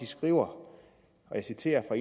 skriver og jeg citerer fra